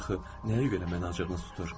Axı nəyə görə məni acığınız tutur?